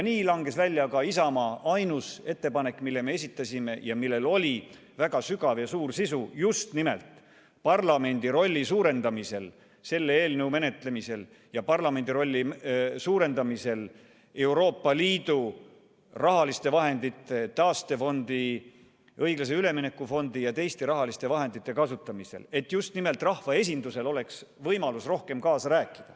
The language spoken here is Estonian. Nii langes välja ka Isamaa ainus ettepanek, mille me esitasime ja millel oli väga sügav ja suur sisu just nimelt parlamendi rolli suurendamiseks selle eelnõu menetlemisel ja parlamendi rolli suurendamiseks Euroopa Liidu rahaliste vahendite – taastefondi, õiglase ülemineku fondi ja teiste rahaliste vahendite – kasutamisel, et just nimelt rahvaesindusel oleks võimalus rohkem kaasa rääkida.